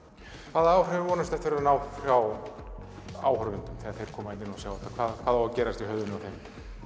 hvaða áhrifum vonastu eftir að ná frá áhorfendum þegar þeir koma hingað og sjá þetta hvað á að gerast í höfðinu á þeim